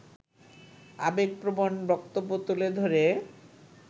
আবেগপ্রবণ বক্তব্য তুলে ধরে